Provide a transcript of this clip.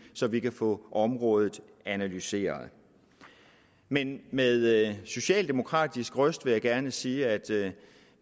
så vi kan få området analyseret men med socialdemokratisk røst vil jeg gerne sige at